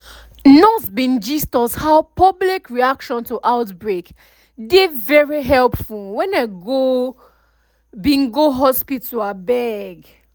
nurse bin gist us how public reaction to outbreak dey very helpful wen i go bin go hospital um